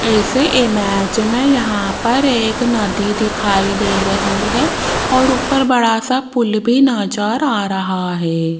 इस इमेज में यहां पर एक नदी दिखाई दे रही है और बड़ा सा पुल भी नज़र आ रहा है।